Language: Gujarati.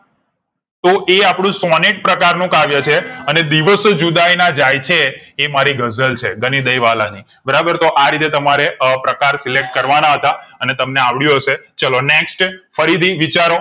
તો એ આપણું સોનેટ પ્રકાર નું કાવ્ય છે અને દિવસો જુદાઈ ના જાય છે એ મારી ગઝલ છે ગનિદય વાલ ની બરાબર તો રીતે તમારે પ્રકાર select કરવા ના હતા. અને તમને આવડયું હશે ચાલો next ફરી હતી વિચારો